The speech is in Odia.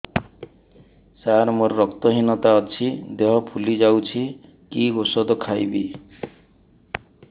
ସାର ମୋର ରକ୍ତ ହିନତା ଅଛି ଦେହ ଫୁଲି ଯାଉଛି କି ଓଷଦ ଖାଇବି